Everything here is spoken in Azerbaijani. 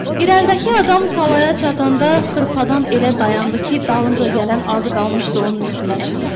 İrəlidəki adam talaya çatanda xırpadan elə dayandı ki, dalınca gələn az qalmışdı onun üstündən çıxsın.